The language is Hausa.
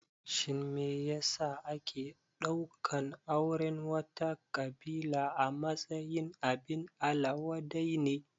Shin me ya sa ake ɗaukan auren wata ƙabila a matsayin abin ala wadai ne?